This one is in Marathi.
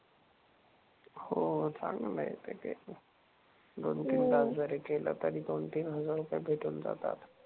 हो चांगलंय ते एक. दोन तीन तास जरी केलं तरी दोन तीन हजार रुपये भेटून जातात.